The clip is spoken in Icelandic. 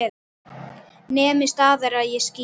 Nemið staðar eða ég skýt!